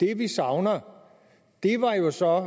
det vi savner er jo så